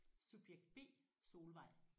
Subjekt B Solvej